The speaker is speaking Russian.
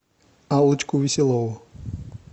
аллочку веселову